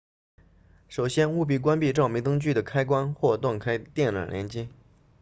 首先务必关闭照明灯具的开关或断开电缆连接